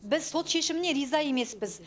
біз сот шешіміне риза емеспіз